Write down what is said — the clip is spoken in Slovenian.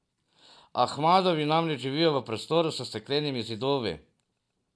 Ahmadovi namreč živijo v prostoru s steklenimi zidovi.